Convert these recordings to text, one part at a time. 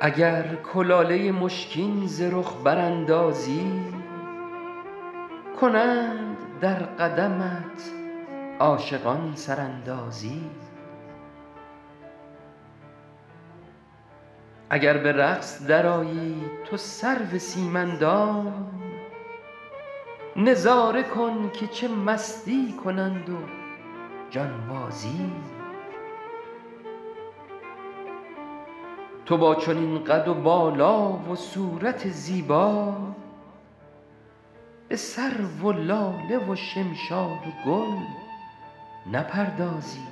اگر کلاله مشکین ز رخ براندازی کنند در قدمت عاشقان سراندازی اگر به رقص درآیی تو سرو سیم اندام نظاره کن که چه مستی کنند و جانبازی تو با چنین قد و بالا و صورت زیبا به سرو و لاله و شمشاد و گل نپردازی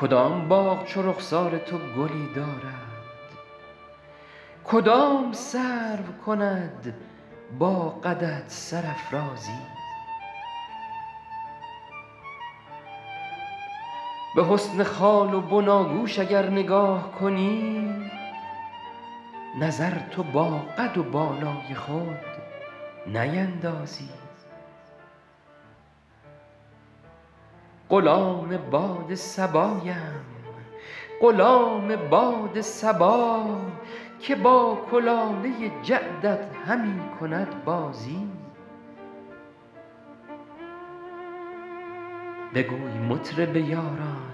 کدام باغ چو رخسار تو گلی دارد کدام سرو کند با قدت سرافرازی به حسن خال و بناگوش اگر نگاه کنی نظر تو با قد و بالای خود نیندازی غلام باد صبایم غلام باد صبا که با کلاله جعدت همی کند بازی بگوی مطرب یاران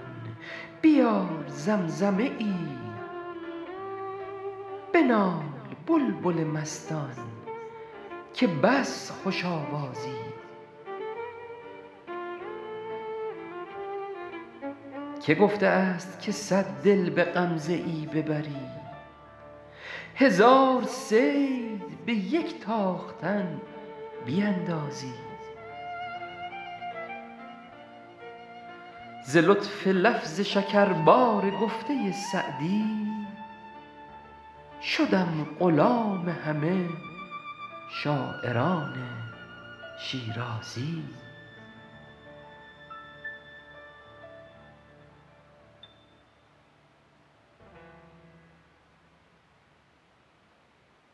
بیار زمزمه ای بنال بلبل مستان که بس خوش آوازی که گفته است که صد دل به غمزه ای ببری هزار صید به یک تاختن بیندازی ز لطف لفظ شکربار گفته سعدی شدم غلام همه شاعران شیرازی